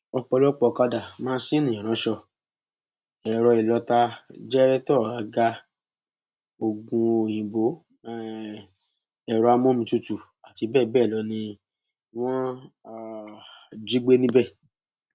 ọpọlọpọ ọkadà máńsinni ìránṣọ ẹrọ ìlọta jẹrẹtọ àga oògùnòyìnbó um ẹrọ amómitutù àti bẹẹ bẹẹ lọ ni wọn um jí gbé níbẹ